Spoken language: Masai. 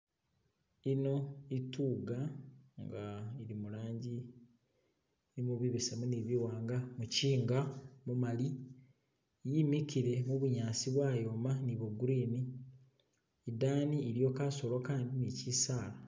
Ino itugga inga ili mulangi ye bibesemu ni biwanga, muchinga mumali yimikile mubunyasi bwayoma ni bwo green idani iliyo kasolo kandi ni kyisaala.